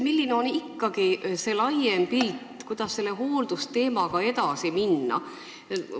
Milline on ikkagi laiem pilt, kuidas selle hooldusteemaga tuleks edasi minna?